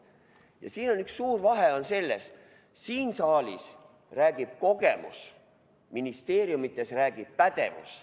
Ja siin on üks suur vahe: siin saalis räägib kogemus, ministeeriumides räägib pädevus.